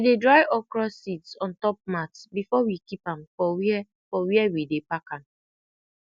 we dey dry okra seeds ontop mats before we keep am for wia for wia we dey pak am